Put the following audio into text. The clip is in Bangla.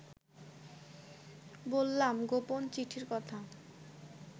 বললাম গোপন চিঠির কথা